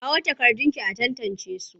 Kawo takardunki a tantancesu!